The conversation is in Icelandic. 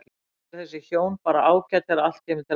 Kannski eru þessi hjón bara ágæt þegar allt kemur til alls.